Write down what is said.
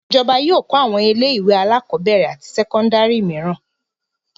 Ìjọba yóò kọ́ àwọn ilé-ìwé alákọ̀ọ́bẹ̀rẹ̀ àti sẹ́kọ́ndárì mìíràn.